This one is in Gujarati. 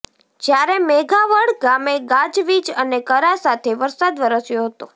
જ્યારે મેઘાવડ ગામે ગાજવીજ અને કરા સાથે વરસાદ વરસ્યો હતો